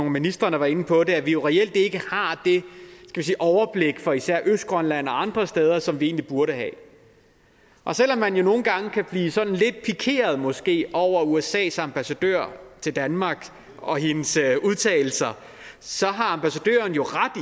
af ministrene var inde på det nemlig at vi reelt ikke har det overblik for især østgrønland og andre steder som vi egentlig burde have og selv om man jo nogle gange kan blive sådan lidt pikeret måske over usas ambassadør i danmark og hendes udtalelser så har ambassadøren jo ret